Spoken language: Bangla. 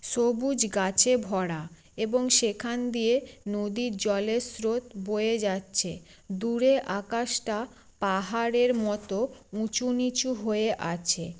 সবুজ গাছে ভরা এবং সেখান দিয়ে নদীর জলের স্রোত বয়ে যাচ্ছে দূরে আকাশটা পাহাড়ের মত উঁচু নিচু হয়ে আছে।